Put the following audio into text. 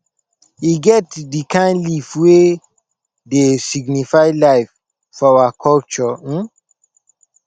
e get di kain leaf wey dey signify life for our culture um